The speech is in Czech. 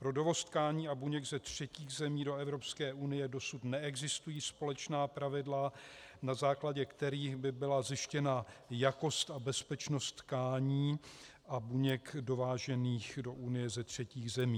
Pro dovoz tkání a buněk ze třetích zemí do Evropské unie dosud neexistují společná pravidla, na základě kterých by byla zjištěna jakost a bezpečnost tkání a buněk dovážených do Unie ze třetích zemí.